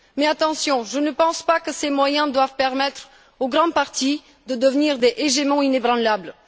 Mais attention, je ne pense pas que ces moyens doivent permettre aux grands partis de devenir des Hégémons inébranlables.